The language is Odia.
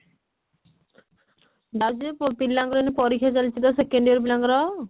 ଯାଉଛି ଯେ ପିଲାଙ୍କ ଏଇନେ ପରୀକ୍ଷା ଚାଲିଛି ତ second year ପିଲା ଙ୍କ ର